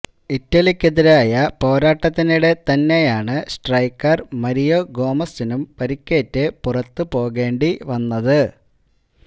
ഇറ്റലിക്കെതിരായ പോരാട്ടത്തിനിടെ തന്നെയാണ് striker Mario ഗോമസിനും പരുക്കേറ്റ് പുറത്തു പോകേണ്ടി വന്നത്